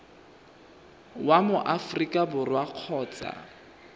wa mo aforika borwa kgotsa